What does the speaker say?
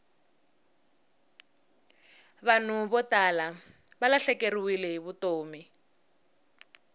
vanhu vo tala valahlekeriwile hi vutomi